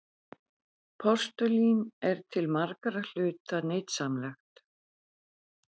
Postulín er til margra hluta nytsamlegt.